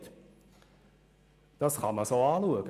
Dieser Meinung kann man tatsächlich sein.